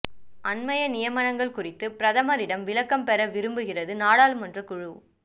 அண்மைய நியமனங்கள் குறித்து பிரதமரிடம் விளக்கம் பெற விரும்புகிறது நாடாளுமன்றக் குழு